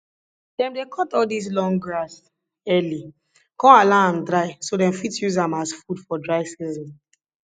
dem dey cut all dis long grass early con allow um am dry so dem fit use am as food for dry season